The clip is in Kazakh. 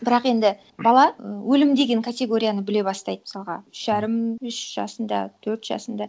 бірақ енді бала өлім деген категорияны біле бастайды мысалға үш жарым үш жасында төрт жасында